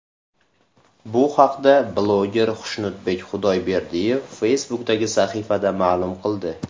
Bu haqda bloger Xushnudbek Xudayberdiyev Facebook’dagi sahifasida ma’lum qildi .